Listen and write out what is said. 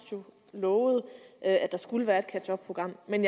lovede at der skulle være et catch up program men